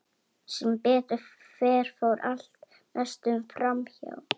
Sem betur fer fór mest allt fram hjá.